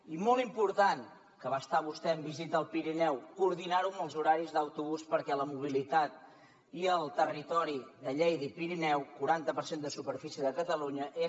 i molt important que va estar vostè en visita al pirineu coordinar ho amb els horaris d’autobús perquè la mobilitat i el territori de lleida i pirineu quaranta per cent de superfície de catalunya